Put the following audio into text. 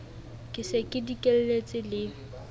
ke se ke dikelletse le